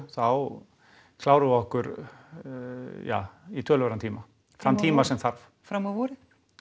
þá klárum við okkur í töluverðan tíma þann tíma sem þarf fram á vorið